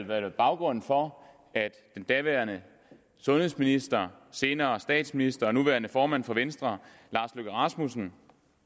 været baggrunden for at den daværende sundhedsminister senere statsminister og nuværende formand for venstre lars løkke rasmussen